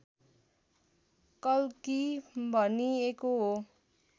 कल्की भनिएको हो